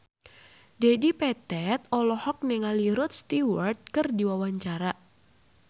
Dedi Petet olohok ningali Rod Stewart keur diwawancara